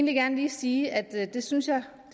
gerne lige sige at det synes jeg